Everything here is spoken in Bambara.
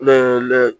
Ne yɛrɛ lɛ